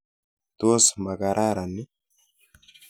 Tos makararan ii?